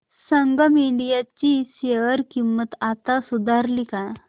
संगम India ची share किंमत आता सुधारली का